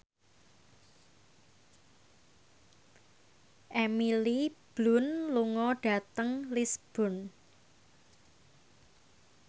Emily Blunt lunga dhateng Lisburn